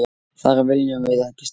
Þar viljum við ekki starfa.